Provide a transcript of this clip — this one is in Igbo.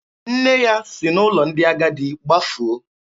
Nne ya si n'ụlọ ndị agadi gbafuo.